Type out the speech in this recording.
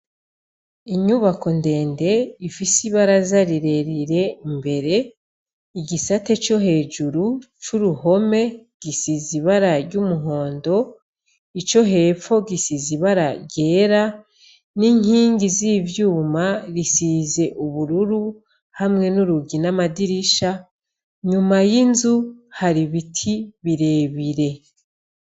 Inyubako ndende ifise ibaraza rirerire imbere, igisate co hejuru c'uruhome gisizibara ry'umuhondo, ico hepfo gisizibara ryera n'inkingi z'ivyuma risize ubururu hamwe n'urugi n’amadirisha, nyuma y'inzu hari biti birebire.